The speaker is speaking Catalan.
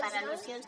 per al·lusions